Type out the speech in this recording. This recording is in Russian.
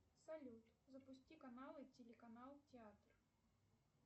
салют запусти каналы телеканал театр